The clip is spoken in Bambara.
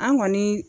An kɔni